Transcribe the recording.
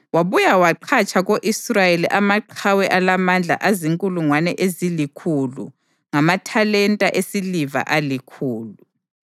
Wabuya waqhatsha ko-Israyeli amaqhawe alamandla azinkulungwane ezilikhulu ngamathalenta esiliva alikhulu.